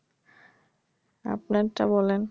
আপনারটা বলেন।